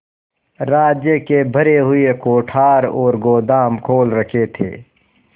राज्य के भरे हुए कोठार और गोदाम खोल रखे थे